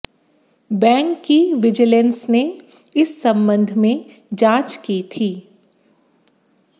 bank की vigilance ने इस संबंध में जांच की थी